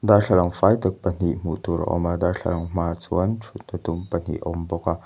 darthlalang fai tak pahnih hmuh tur a awm a darthlalang hmaah chuan thut na dum pahnih a awm bawk a.